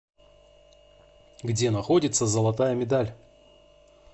где находится золотая медаль